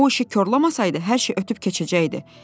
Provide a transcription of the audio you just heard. O uşu korlamasaydı hər şey ötüb keçəcəkdi.